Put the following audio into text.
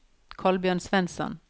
Kolbjørn Svensson